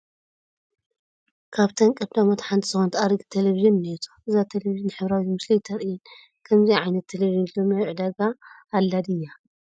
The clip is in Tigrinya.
ካብተን ቀዳሞት ሓንቲ ዝኾነት ኣረጊት ቴለብዥን እኔቶ፡፡ እዛ ቴለብዥን ሕብራዊት ምስሊ ኣይተርእይን፡፡ ከምዚኣ ዓይነት ቴለብዥን ሎሚ ኣብ ዕዳጋ ኣላ ድያ?